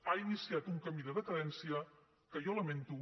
ha iniciat un camí de decadència que jo lamento